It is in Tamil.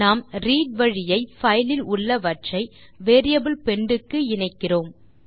நாம் ரீட் வழியை பைல் இல் உள்ளவற்றை வேரியபிள் பெண்ட் க்கு இணைக்கிறோம்